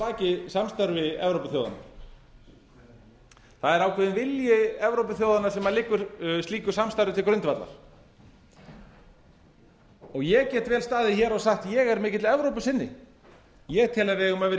baki samstarfi evrópuþjóðanna það er ákveðinn vilji evrópuþjóðanna sem liggur slíku samstarfi til grundvallar og ég get vel staðið hér og sagt ég er mikill evrópusinni ég tel að við eigum að vera í